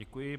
Děkuji.